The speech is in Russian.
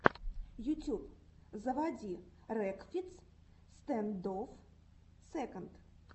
ютюб заводи рекфиц стэндофф сэконд